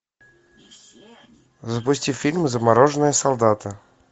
запусти фильм замороженные солдаты